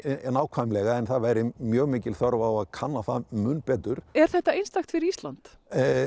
nákvæmlega en það væri mjög mikil þörf á að kanna það mun betur er þetta einstakt fyrir Ísland